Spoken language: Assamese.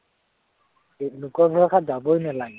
এৰ লোকৰ ভৰসাত যাবই নালাগে।